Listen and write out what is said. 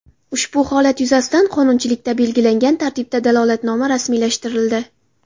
Ushbu holat yuzasidan qonunchilikda belgilangan tartibda dalolatnoma rasmiylashtirildi.